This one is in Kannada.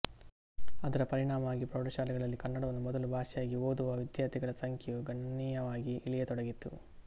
ಅದರ ಪರಿಣಾಮವಾಗಿ ಪ್ರೌಢಶಾಲೆಗಳಲ್ಲಿ ಕನ್ನಡವನ್ನು ಮೊದಲ ಭಾಷೆಯಾಗಿ ಓದುವ ವಿದ್ಯಾರ್ಥಿಗಳ ಸಂಖ್ಯೆಯು ಗಣನೀಯವಾಗಿ ಇಳಿಯತೊಡಗಿತು